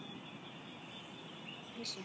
Og hvað við vorum hissa.